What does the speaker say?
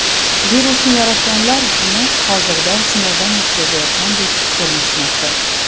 Virusni yaratganlar uni hozirda sinovdan o‘tkazayotgandek ko‘rinishmoqda.